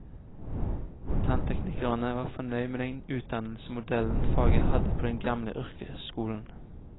Tannteknikerne var fornøyd med den utdannelsesmodellen faget hadde på den gamle yrkesskolen.